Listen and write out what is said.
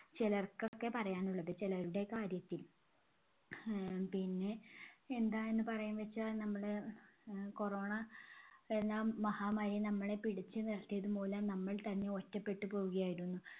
ചിലർക്കൊക്കെ പറയാനുള്ളത് ചിലരുടെ കാര്യത്തിൽ. ആഹ് പിന്നെ എന്താന്ന് പറയാന്നുവെച്ചാൽ നമ്മള് ആഹ് corona എന്ന മഹാമാരി നമ്മളെ പിടിച്ചു നിർത്തിയതു മൂലം നമ്മൾ തന്നെ ഒറ്റപെട്ട് പോവുകയായിരുന്നു.